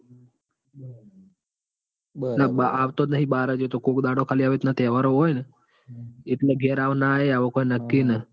બરાબર એતો આવતો જ નાઈ બાર એતો કોક દાડો આવી રીતના તહેવારો હોય એટલે ગેર આવ ના આવ કોઈ નક્કી નઈ.